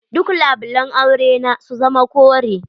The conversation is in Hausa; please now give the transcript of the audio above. Duk labulan aure na su zama kore.